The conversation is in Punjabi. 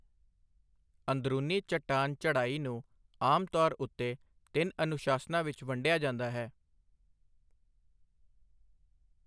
ਅੰਦਰੂਨੀ ਚਟਾਨ ਚੜ੍ਹਾਈ ਨੂੰ ਆਮ ਤੌਰ ਉੱਤੇ ਤਿੰਨ ਅਨੁਸ਼ਾਸਨਾਂ ਵਿੱਚ ਵੰਡਿਆ ਜਾਂਦਾ ਹੈ।